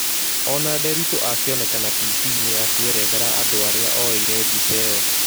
Ona Nderitu akĩonekana tibiine akĩerethera andũ aria oyeire mbica ĩyo